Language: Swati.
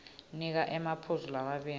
nika emaphuzu lamabili